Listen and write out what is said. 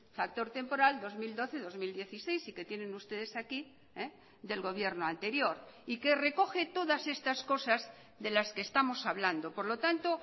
factor temporal dos mil doce dos mil dieciséis y que tienen ustedes aquí del gobierno anterior y que recoge todas estas cosas de las que estamos hablando por lo tanto